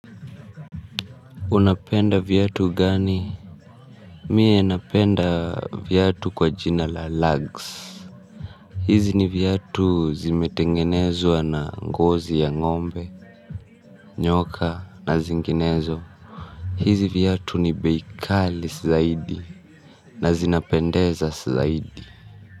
Unapenda viatu gani mie napenda viatu kwa jina la lags hizi ni viatu zimetengenezwa na ngozi ya ngombe nyoka na zinginezo hizi viatu ni beikali sizaidi na zinapendeza sizaidi.